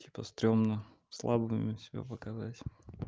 типа стремно слабыми себя показать